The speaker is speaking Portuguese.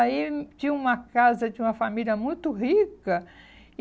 Aí tinha uma casa de uma família muito rica. E